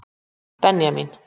Benjamín